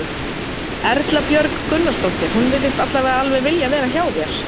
Erla Björg Gunnarsdóttir: Hún virðist allavega alveg vilja vera hjá þér?